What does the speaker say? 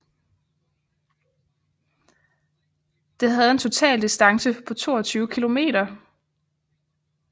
Det havde en total distance på 22 km